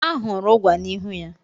Ahụrụ ụgwa n'ihu ya.